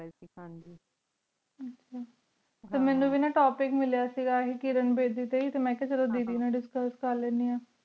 T ਮੀਨੁ ਵੇ ਨਾ ਟੋਪਿਕ ਮਿਲਯਾ ਸੇ ਗਾ ਕੀਰੇਨ ਬੀੜੀ ਟੀ ਮੈਂ ਕਿਯਾ ਚਲੋ ਦੀਦੀ ਨਾਲ ਦਿਸ੍ਛੁਸ ਕਰ ਲੇਡੀ ਆਂ